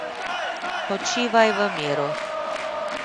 Počivaj v miru!